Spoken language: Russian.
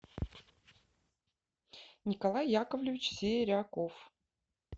николай яковлевич серяков